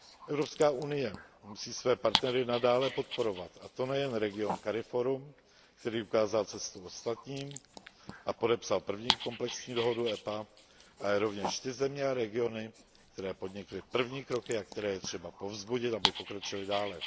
Evropská unie musí své partnery nadále podporovat, a to nejen region CARIFORUM, který ukázal cestu ostatním a podepsal první komplexní dohodu EPA, ale rovněž ty země a regiony, které podnikly první kroky a které je třeba povzbudit, aby pokročily dále.